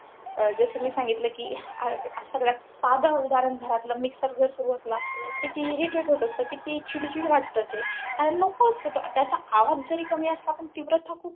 जसं मी सांगितलं कि, सगळ्यात साधं उदाहरण. घरातला mixer जर सुरु असला, किती irritate होत असतं. किती चिडचिड वाटतं ते. आणि नको असतं ते, त्याचा आवाज जरी कमी असला पण तीव्रता खूप.